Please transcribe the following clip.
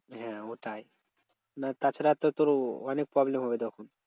হ্যাঁ ওটাই না তাছাড়া তো তোর অনেক problem হবে তখন।